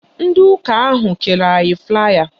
Ndị ụka ahụ kere anyị flaaya